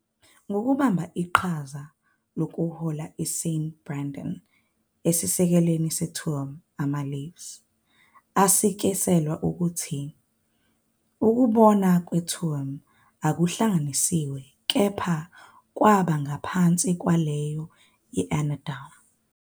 Ngokubamba iqhaza lokuhola kuSt Brendan esisekelweni seTuam, "amaLives" asikisela ukuthi ukubonwa kweTuam kwakuhlanganiswe kepha kwaba ngaphansi kwaleyo yase- Annaghdown.